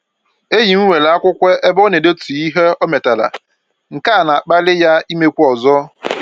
Enyi m nwere akwụkwọ ebe ọ na-edetu ihe o metara, nke a na-akpali ya imekwu ọzọ